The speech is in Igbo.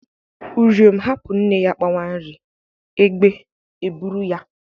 Uriom hapụ nne ya kpawa nri, egbe eburu ya.